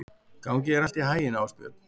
Gangi þér allt í haginn, Ásbjörn.